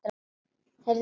Heyrðu mig.